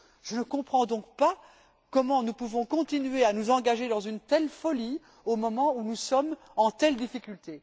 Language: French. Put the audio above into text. Je ne comprends donc pas comment nous pouvons continuer à nous engager dans une telle folie au moment où nous sommes en telle difficulté.